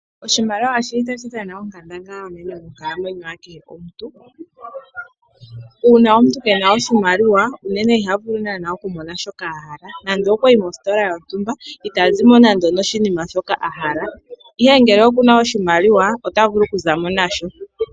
Oshimaliwa ohashi dhana onkandangala onene monkalamwenyo yakehe omuntu . Uuna omuntu keena oshimaliwa unene iha vulu naanaa okumona shoka ahala. Nande okwa yi mositola yontumba itazi mo nando onoshinima shoka ahala, ihe ngele okushina otazimo nasho.